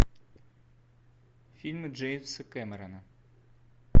фильмы джеймса кэмерона